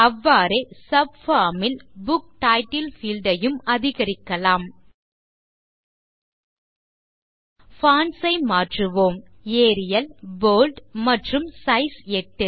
அவ்வாறே சப்பார்ம் ல் book title field ஐயும் அதிகரிக்கலாம் பான்ட்ஸ் ஐ மாற்றுவோம் ஏரியல் போல்ட் மற்றும் சைஸ் 8